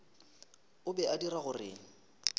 e be e dira gore